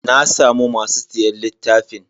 Na samu masu siyan littafin.